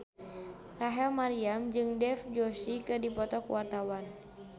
Rachel Maryam jeung Dev Joshi keur dipoto ku wartawan